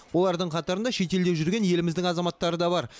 олардың қатарында шетелде жүрген еліміздің азаматтары да бар